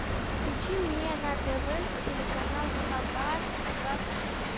включи мне на тв телеканал хабар двадцать четыре